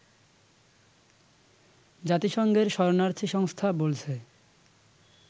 জাতিসংঘের শরণার্থী সংস্থা বলছে